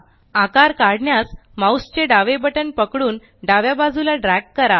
आकार काढण्यास माउस चे डावे बटन पकडून डाव्या बाजूला ड्रॅग करा